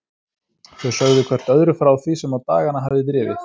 Þau sögðu hvert öðru frá því sem á dagana hafði drifið.